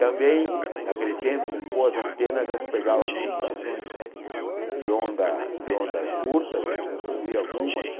Também, naquele tempo, com boas antenas, já se pegava algumas estações de onda de ondas curtas, né então se ouvia algumas